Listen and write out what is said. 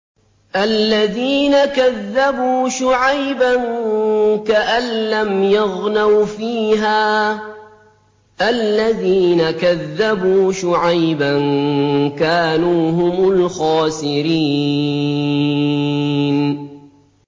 الَّذِينَ كَذَّبُوا شُعَيْبًا كَأَن لَّمْ يَغْنَوْا فِيهَا ۚ الَّذِينَ كَذَّبُوا شُعَيْبًا كَانُوا هُمُ الْخَاسِرِينَ